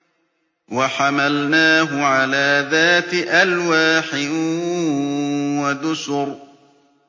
وَحَمَلْنَاهُ عَلَىٰ ذَاتِ أَلْوَاحٍ وَدُسُرٍ